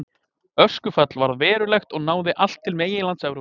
Öskufall varð verulegt og náði allt til meginlands Evrópu.